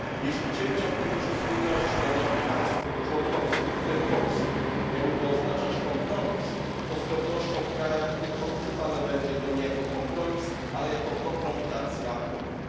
Jeśli cięcia Funduszu Spójności dla nowych państw członkowskich, w tym Polski, miałyby oznaczać kompromis, to z pewnością w krajach tych odczytane to będzie nie jako kompromis, lecz jako kompromitacja Unii.